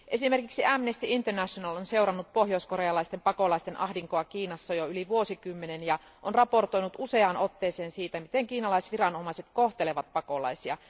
Esimerkiksi Amnesty International on seurannut pohjoiskorealaisten pakolaisten ahdinkoa Kiinassa jo yli vuosikymmenen ajan ja on raportoinut useaan otteeseen siitä, miten kiinalaiset viranomaiset kohtelevat pakolaisia.